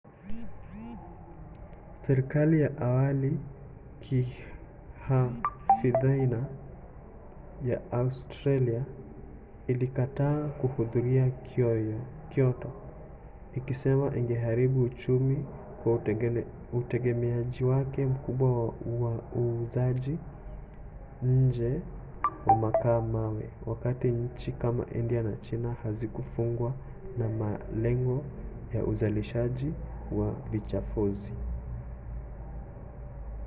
serikali ya awali ya kihafidhina ya australia ilikataa kuridhia kyoto ikisema ingeharibu uchumi kwa utegemeaji wake mkubwa wa uuzaji nje wa makaa-mawe wakati nchi kama india na china hazikufungwa na malengo ya uzalishaji wa vichafuzi